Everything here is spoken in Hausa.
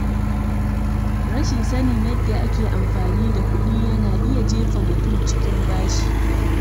Rashin sanin yadda ake amfani da kuɗi yana iya jefa mutum cikin bashi.